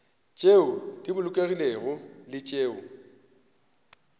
tšeo di bolokegilego le tšeo